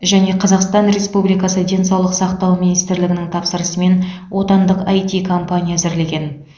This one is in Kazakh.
және қазақстан республикасы денсаулық сақтау министрлігінің тапсырысымен отандық іт компания әзірлеген